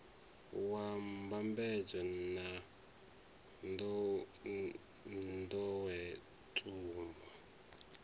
wa mbambadzo na n ḓowetsumo